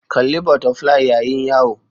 Kalli Butterfly Yayin Yawo